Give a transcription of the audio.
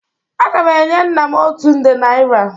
Aga m enye nna m otu nde naira.